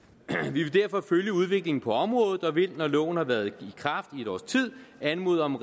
vi vil derfor følge udviklingen på området og vil når loven har været i kraft i et års tid anmode om